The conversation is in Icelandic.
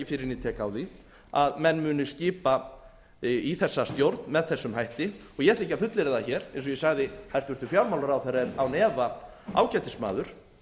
tek á því að menn munu skipa í þessa stjórn með þessum hætti ég ætla ekki að fullyrða það hér eins og ég sagði hæstvirtur fjármálaráðherra er án efa ágætis maður